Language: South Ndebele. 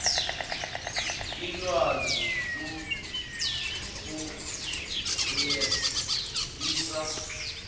ilwazi kuenquiries isa